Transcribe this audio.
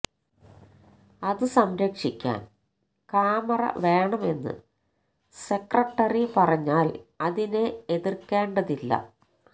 അത് സംരക്ഷിക്കാന് കാമറ വേണം എന്ന് സെക്രട്ടറി പറഞ്ഞാല് അതിനെ എതിര്ക്കേണ്ടതില്ല